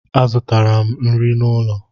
Azụtara m nri n'ụlọ.